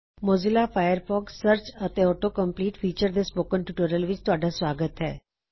Mozilla Firefox search and auto complete features ਦੇ spoken tutorial ਵਿਚ ਤੁਹਾਡਾ ਸੁਆਗਤ ਹੈ